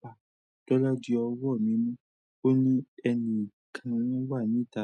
pa. Tọ́là jí ọwọ́ mímu, ó ní ẹni kan wà níta.